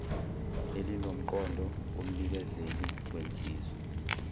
elinomqondo kumnikezeli wensiza